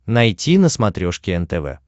найти на смотрешке нтв